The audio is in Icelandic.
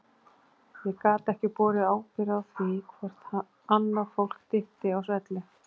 Ég gat ekki borið ábyrgð á því hvort annað fólk dytti á svelli.